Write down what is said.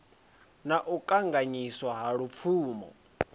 na u kanganyiswa ha lupfumo